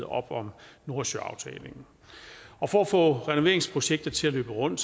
op om nordsøaftalen for at få renoveringsprojektet til at løbe rundt